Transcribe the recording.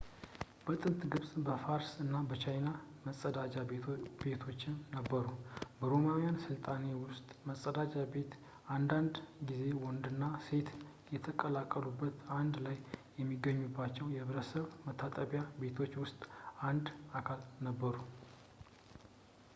በጥንት ግብፅ ፣ በፋርስ እና በቻይና መፀዳጃ ቤቶችም ነበሩ። በሮማውያን ሥልጣኔ ውስጥ መጸዳጃ ቤቶች አንዳንድ ጊዜ ወንዶችና ሴቶች በተቀላቀሉበት አንድ ላይ በሚገኙባቸው የሕዝብ መታጠቢያ ቤቶች ውስጥ አንድ አካል ነበሩ